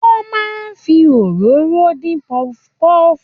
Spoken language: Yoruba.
Wọ́n máa ń fi òróró dín puff puff.